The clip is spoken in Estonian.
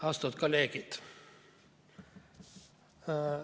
Austatud kolleegid!